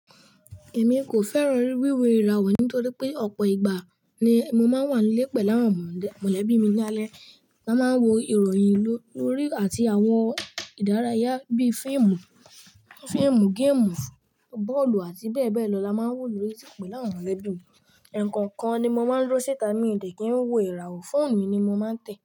Èmi kò fẹ́ràn wíwo ìràwọ̀ nítorí pé ọ̀pọ̀ ìgbà ni mo máa ń wà lé pẹ̀ láwọn mọ̀lẹ́bí mi lálẹ́. A máa ń wo ìròyìn lórí àti àwọn ìdárayá bí i fíìmù, fíìmù, géèmù, bọ́ọ̀lù ati bẹ́ẹ̀ bẹ́ẹ̀ lọ. La máa ń wò lórí sípì láwọn mọ̀lẹ́bí. Ẹ kọ̀nkan ni mo máa ń dúró síta mi diẹ̀ kí n wò ìràwọ̀. Fóònù mi ni mo máa ń tẹ̀